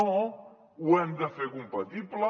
no ho hem de fer compatible